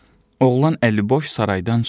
Oğlan əliboş saraydan çıxır.